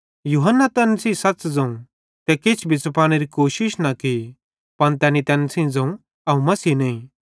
यूहन्ने तैन सेइं सच़ ज़ोवं ते किछ भी छ़पानेरी कोशिश न की त तैनी तैन सेइं ज़ोवं अवं मसीह नईं